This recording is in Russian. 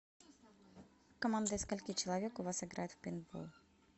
команда из скольки человек у вас играет в пейнтбол